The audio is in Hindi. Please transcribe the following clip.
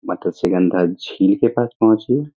मतस्‍यगंधा झील के पास पहुंचे --